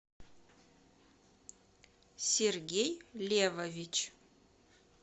сергей левович